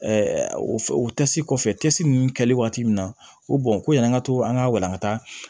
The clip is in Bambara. o o kɔfɛ ninnu kɛli waati min na o ko yani an ka to an ka walangata